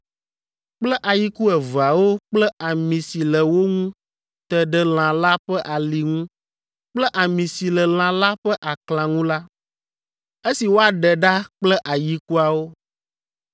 kple ayiku eveawo kple ami si le wo ŋu te ɖe lã la ƒe ali ŋu kple ami si le lã la ƒe aklã ŋu la, esi woaɖe ɖa kple ayikuawo.